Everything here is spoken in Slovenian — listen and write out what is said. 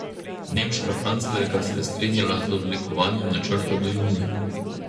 Nemška kanclerka se je strinjala z oblikovanjem načrta do junija.